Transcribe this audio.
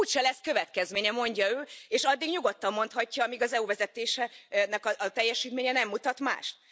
Úgyse lesz következménye, mondja ő, és addig nyugodtan mondhatja, amíg az EU vezetésének a teljesítménye nem mutat mást.